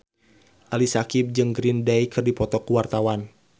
Ali Syakieb jeung Green Day keur dipoto ku wartawan